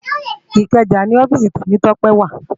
Ikeja ni òfìsí Temitope wá